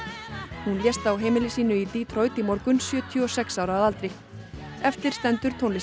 hún lést á heimili sínu í Detroit í morgun sjötíu og sex ára að aldri eftir stendur tónlistin